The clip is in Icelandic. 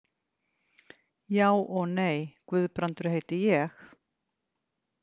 Já og nei, Guðbrandur heiti ég.